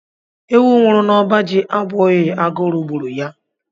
Ewu nwụrụ n'ọba ji abụghị agụrụ gburu ya.